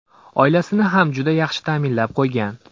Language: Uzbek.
Oilasini ham juda yaxshi ta’minlab qo‘ygan.